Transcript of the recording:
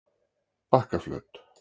Bakkaflöt